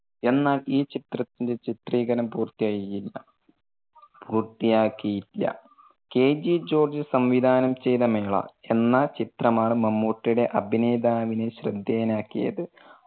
എന്നാൽ ഈ ചിത്രത്തിന്റെ ചിത്രീകരണം പൂർത്തിയായില്ല പൂർത്തിയാക്കിയില്ല. KG ജോർജ് സംവിധാനo ചെയ്ത മേള എന്ന ചിത്രമാണ് മമ്മൂട്ടിയുടെ അഭിനേതാവിനെ ശ്രദ്ധേയൻ ആക്കിയത്.